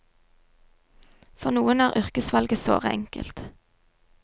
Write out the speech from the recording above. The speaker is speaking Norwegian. For noen er yrkesvalget såre enkelt.